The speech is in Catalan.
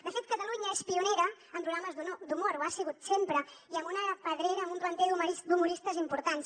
de fet catalunya és pionera en programes d’humor ho ha sigut sempre i amb una pedrera amb un planter d’humoristes importants